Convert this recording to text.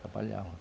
Trabalhávamos.